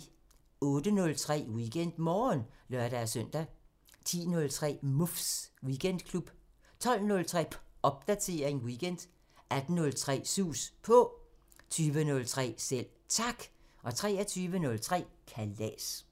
08:03: WeekendMorgen (lør-søn) 10:03: Muffs Weekendklub 12:03: Popdatering weekend 18:03: Sus På 20:03: Selv Tak 23:03: Kalas